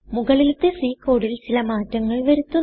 മുകളിലത്തെC കോഡിൽ ചില മാറ്റങ്ങൾ വരുത്തുന്നു